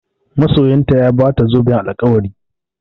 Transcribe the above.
Masoyinta ya Bata zoben alkawari